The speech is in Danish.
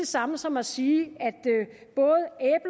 samme som at sige